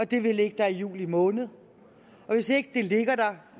det vil ligge der i juli måned og hvis ikke det ligger der